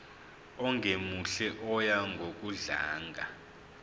ongemuhle oya ngokudlanga